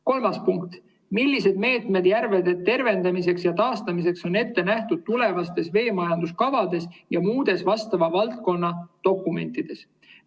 Kolmas punkt: "Millised meetmed järvede tervendamiseks ja taastamiseks on ette nähtud tulevastes veemajanduskavades ja muudes vastava valdkonna dokumentides?